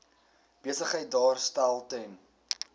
besigheid daarstel ten